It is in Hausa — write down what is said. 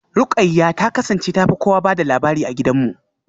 Ruqayyah ta kasance ta fi kowa ba da labari a gidanmu.